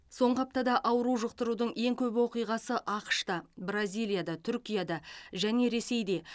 соңғы аптада ауру жұқтырудың ең көп оқиғасы ақш та бразилияда түркияда және ресейде